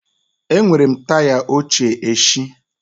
Enwere m taya óché éshị